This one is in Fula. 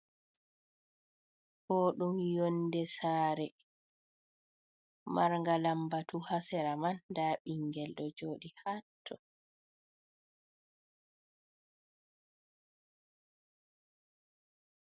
Ɗo ɗum yonde sare marga lambatu ha sera man nda ɓingel ɗo joɗi haattoo.